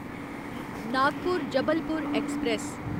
Nagpur Jabalpur express